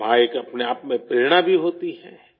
ماں ایک اپنے آپ میں حوصلہ بھی ہوتی ہے